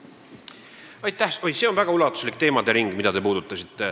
Oi, see, mida te puudutasite, on väga ulatuslik teemade ring.